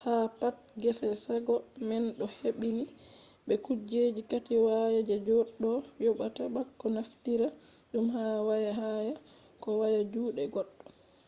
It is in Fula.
ha pat gefe shago man ɗo hebbini be kujeji kati waya je goɗɗo yoɓata bako naftira ɗum ha waya haya ko waya juɗe goɗɗo